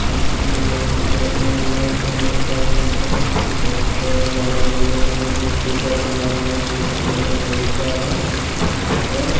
मंदिर बना हुआ दिखाई दे रहे हैं यहां पे बहोत सारे अंदर बहोत बड़ा लाइटे लगी हुए यहां पे मूर्ति का बनाया हुआ दिखाई दे रहा है बहुत सारे यहां पर --